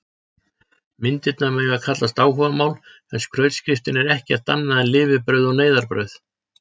Myndirnar mega kallast áhugamál en skrautskriftin er ekkert annað en lifibrauð og neyðarbrauð.